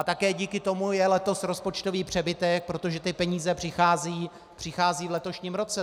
A také díky tomu je letos rozpočtový přebytek, protože ty peníze přicházejí v letošním roce.